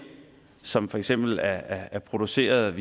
som for eksempel er produceret